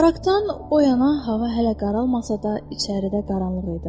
Baragdan o yana hava hələ qaralmasa da, içəridə qaranlıq idi.